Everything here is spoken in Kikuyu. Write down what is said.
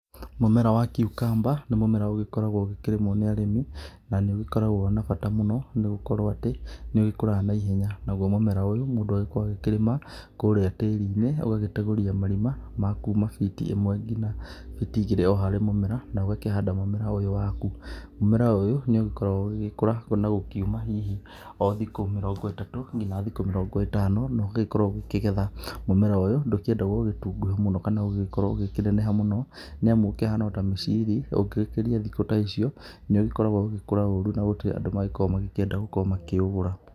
Mũmera wa kiukamba nĩ mũmera ũgĩkoragwo ũkĩrĩmwo nĩ arĩmi na nĩ ũgĩkoragwo na bata mũno nĩ gũkorwo atĩ nĩ ũgĩkũraga na ihenya. Naguo mũmera ũyũ mũndũ agĩkoragwo agĩkĩrĩma kũrĩa tĩri-inĩ, ũgagĩtegũria marima makuma biti ĩmwe ngina biti igĩrĩ harĩ mũmera na ũgakĩhanda mũmera ũyũ waku. Mũmera ũyũ nĩ ũgĩkoragwo ũgĩgĩkũra kuona gũkiuma hihi o thiko mĩrongo ĩtatũ ngina thikũ mĩrongo ĩtano no ũgagĩkorwo ũgĩkĩgetha. Mũmera ũyũ ndũkĩendagwo ũgĩtungũhe mũno kana ũgĩkorwo ũgĩkĩneneha mũno. Nĩ amu ũkĩhana o ta mĩciri ũngĩ gĩkĩria thikũ ta icio nĩ ũgĩkoragwo ũgĩgĩkũra ũru na gũtiri andũ magĩkoragwo makĩenda gũkĩũgũra.